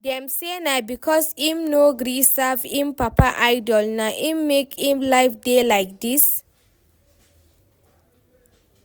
Dem say na because im no gree serve im papa idol, na im make im life dey like dis